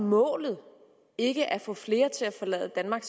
målet ikke at få flere til at forlade danmark